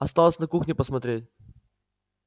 осталось на кухне посмотреть